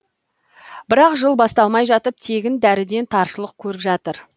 бірақ жыл басталмай жатып тегін дәріден таршылық көріп жатыр